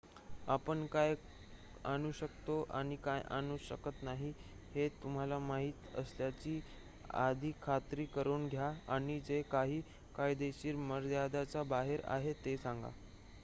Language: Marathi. आपण काय आणू शकतो आणि काय आणू शकत नाही हे तुम्हाला माहित असल्याची आधी खात्री करून घ्या आणि जे काही कायदेशीर मर्यादेच्याबाहेर आहे ते सांगा